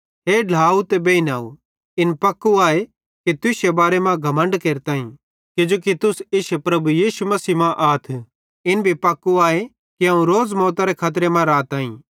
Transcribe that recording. हे ढ्लाव ते बेइनव इन पक्कू आए कि तुश्शे बारे मां घमण्ड केरताईं किजोकि तुस इश्शे प्रभु यीशु मसीह मां आथ इन भी पक्कू आए कि अवं रोज़ मौतरे खतरे मां राताई